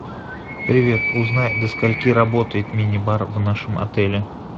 привет узнай до скольки работает мини бар в нашем отеле